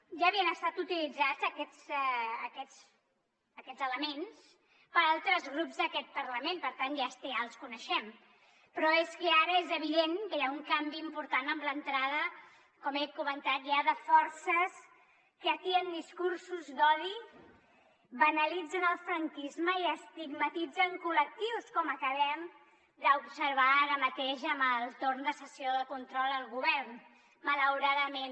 ja havien estat utilitzats aquests elements per altres grups d’aquest parlament per tant ja els coneixem però és que ara és evident que hi ha un canvi important amb l’entrada com he comentat ja de forces que atien discursos d’odi banalitzen el franquisme i estigmatitzem col·lectius com acabem d’observar ara mateix en el torn de sessió de control al govern malauradament